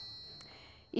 í